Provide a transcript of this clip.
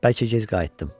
Bəlkə gec qayıtdım.